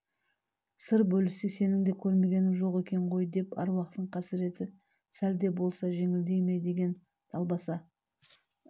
сыр бөліссе сенің де көрмегенің жоқ екен ғой деп аруақтың қасырет сәл де болса жеңілдей ме деген далбаса